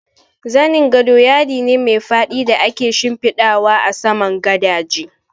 Zanin gado yadi ne mai faɗi da ake shimfiɗawa a saman gadaje